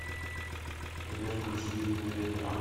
сбер включи дымная дэнни абро